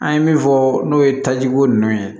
An ye min fɔ n'o ye tajiko ninnu ye